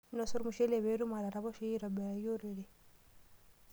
Inosa ormushule pookin pee itum ataraposhoyu aitobiraki orere.